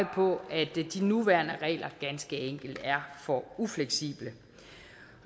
på at de nuværende regler ganske enkelt er for ufleksible